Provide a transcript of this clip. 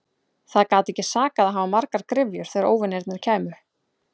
Það gat ekki sakað að hafa margar gryfjur þegar óvinirnir kæmu.